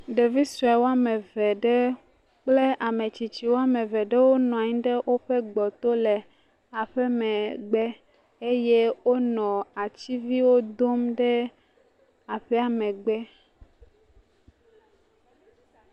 Ɖevi sue wɔme eve aɖe kple ame tsitsi wɔme eve ɖewo wonɔ anyi ɖe woƒe gbɔ to le woaƒe megbe eye wonɔ ativiwo dom ɖe aƒea megbe.